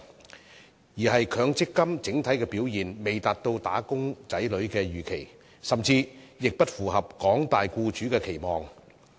反之，是強積金整體的表現未達到"打工仔女"所預期，甚至不符合廣大僱主的期望。